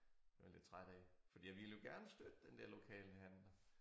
Var jeg lidt træt af fordi jeg ville jo gerne støtte den der lokale handler